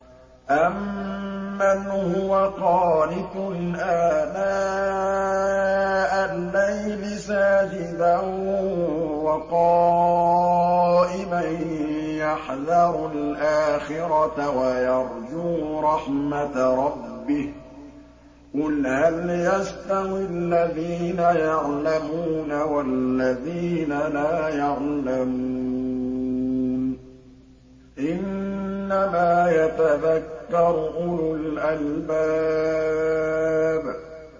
أَمَّنْ هُوَ قَانِتٌ آنَاءَ اللَّيْلِ سَاجِدًا وَقَائِمًا يَحْذَرُ الْآخِرَةَ وَيَرْجُو رَحْمَةَ رَبِّهِ ۗ قُلْ هَلْ يَسْتَوِي الَّذِينَ يَعْلَمُونَ وَالَّذِينَ لَا يَعْلَمُونَ ۗ إِنَّمَا يَتَذَكَّرُ أُولُو الْأَلْبَابِ